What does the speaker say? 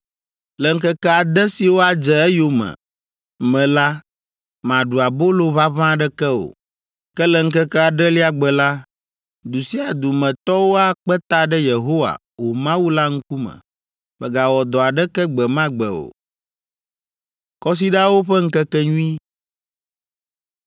Le ŋkeke ade siwo adze eyome me la, màɖu abolo ʋaʋã aɖeke o, ke le ŋkeke adrelia gbe la, du sia du me tɔwo akpe ta ɖe Yehowa, wò Mawu la ŋkume. Mègawɔ dɔ aɖeke gbe ma gbe o.”